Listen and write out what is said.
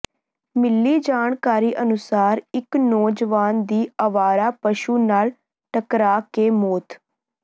ਮਿਲੀ ਜਾਣਕਾਰੀ ਅਨੁਸਾਰ ਇੱਕ ਨੌਜਵਾਨ ਦੀ ਅਵਾਰਾ ਪਸ਼ੂ ਨਾਲ ਟਕਰਾ ਕੇ ਮੌਤ